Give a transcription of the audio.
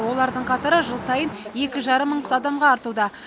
олардың қатары жыл сайын екі жарым мың адамға артуда